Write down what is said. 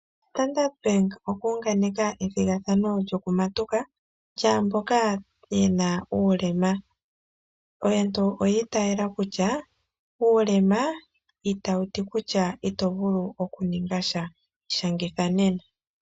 Ombanga yaStandard oya unganeka ethigathano lyokutondoka lyaamboka yena uulema. Aantu oyi itaala kutya uulema itawu ti kutya ito vulu okuninga tya ishangitha nena.